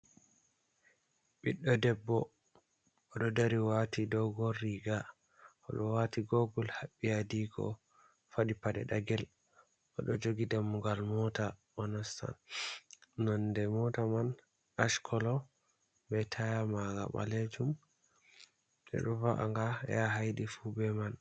Ɓiddo deɓɓo ɗo dari wati dogon riga oɗo wati goggle haɓɓi adiko faɗɗi paɗe ɗagel oɗojogi dammugal mota onasta, nonde mota man ash colour be taya manga ɓalejum ɓeɗo nga va'a NGA yaha ha yiɗifu.